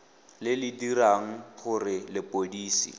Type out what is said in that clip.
le le dirang gore lepodisi